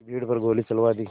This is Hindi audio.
की भीड़ पर गोली चलवा दी